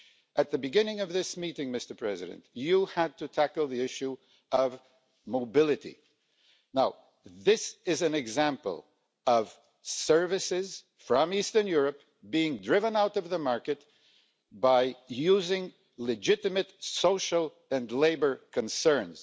At the beginning of this meeting, Mr President, you had to tackle the issue of mobility. Now, this is an example of services from Eastern Europe being driven out of the market by using legitimate social and labour concerns.